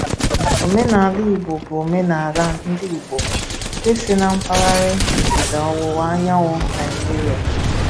Òmènala Ìgbò bụ òmènala ndị Ìgbò nke si n’mpaghara ndịda ọwụwa anyanwụ Naịjíríà.